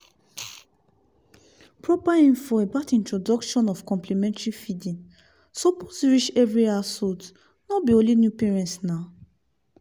proper info about introduction of complementary feedingsuppose reach every householdno be only new parents naw